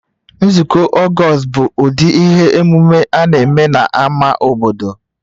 Nzukọ August bụ ụdị ihe omume a na-eme na ama obodo